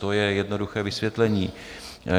To je jednoduché vysvětlení.